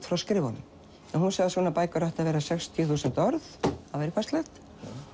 frá skrifunum hún sagði að svona bækur ættu að vera sextíu þúsund orð það væri passlegt